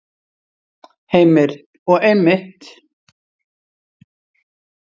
Heimir: Og einmitt.